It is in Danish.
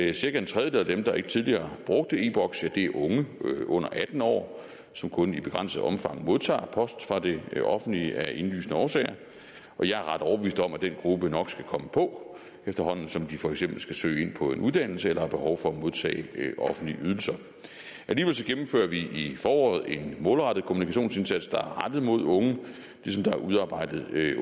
at cirka en tredjedel af dem der ikke tidligere har brugt e boks er unge under atten år som kun i begrænset omfang modtager post fra det det offentlige af indlysende årsager og jeg er ret overbevist om at den gruppe nok skal komme på efterhånden som de for eksempel skal søge ind på en uddannelse eller har behov for at modtage offentlige ydelser alligevel gennemfører vi i foråret en målrettet kommunikationsindsats der er rettet mod unge ligesom der er udarbejdet